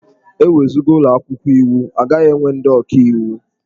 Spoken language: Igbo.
E wezuga ụlọ akwụkwọ iwu, a gaghị enwe ndị ọkaiwu.